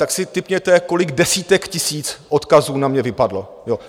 Tak si tipněte, kolik desítek tisíc odkazů na mě vypadlo.